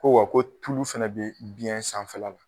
Ko wa ko tulu fɛnɛ be biyɛn sanfɛla la